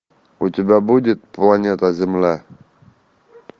у тебя будет планета земля